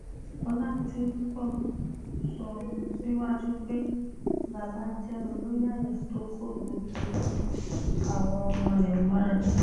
ọ̀làdìpọ̀ sọ síwájú pé baba jẹ́ ọlọ́yàyà tó kó gbogbo àwa ọmọ rẹ̀ mọ́ra